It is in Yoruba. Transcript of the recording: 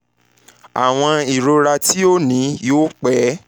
awọn irora ti o ni yoo pẹ